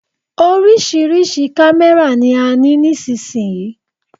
Oríṣiríṣi kámẹ́rà ni a ní nísìyí.